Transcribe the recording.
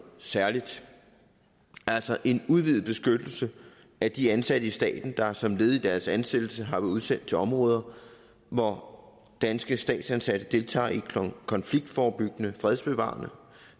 særligt altså en udvidet beskyttelse af de ansatte i staten der som led i deres ansættelse har været udsendt til områder hvor danske statsansatte deltager i konfliktforebyggende fredsbevarende